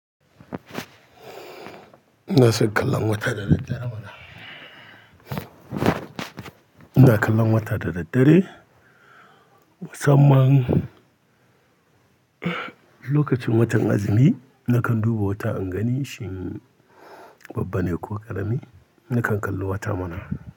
Ina son kallon wata da daddare mana. Ina kallon wata da daddare, musamman lokacin watan azumi, nakan duba wata in gani shin babba ne ko ƙarami, nakan kalli wata mana.